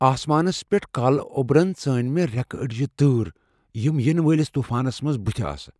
آسمانس پیٹھ كالہٕ اوبرن ژٲنۍ مے٘ ریكہٕ اڈِجہِ تٲر ، یِم یینہٕ والِس طوفانس بُتھِ ٲسہٕ۔